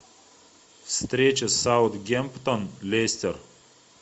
встреча саутгемптон лестер